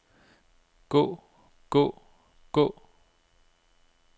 gå gå gå